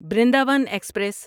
Brindavan express